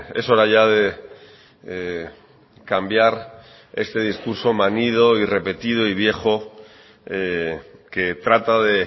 es hora ya de cambiar este discurso manido repetido y viejo que trata de